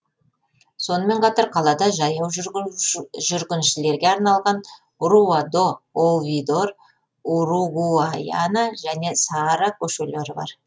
сонымен қатар қалада жаяу жүргіншілерге арналған руа до оувидор уругуайана және саара көшелері бар